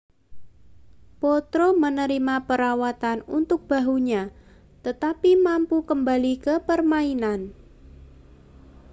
potro menerima perawatan untuk bahunya tetapi mampu kembali ke permainan